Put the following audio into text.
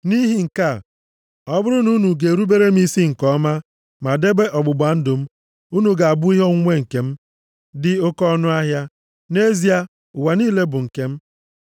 Nʼihi nke a, ọ bụrụ na unu ga-erubere m isi nke ọma ma debe ọgbụgba ndụ m, unu ga-abụ ihe onwunwe nke m dị oke ọnụahịa. Nʼezie, ụwa niile bụ nke m,